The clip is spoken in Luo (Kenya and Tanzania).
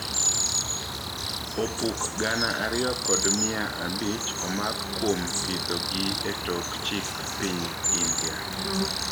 Opuk gana ariyo kod mia abich omak kuom pidho gi e tok chik piny India